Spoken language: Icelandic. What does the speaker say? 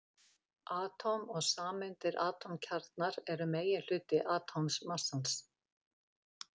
Atóm og sameindir Atómkjarnar eru meginhluti atómmassans.